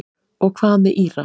Og hvað með Íra?